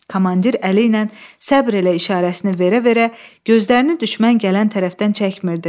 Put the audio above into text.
Komandir əli ilə səbr elə işarəsini verə-verə gözlərini düşmən gələn tərəfdən çəkmirdi.